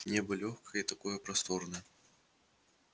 небо лёгкое и такое просторное